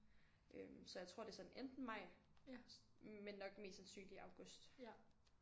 Øh så jeg tror det er sådan enten maj men nok mest sandsynligt august